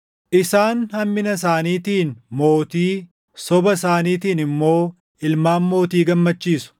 “Isaan hammina isaaniitiin mootii, soba isaaniitiin immoo ilmaan mootii gammachiisu.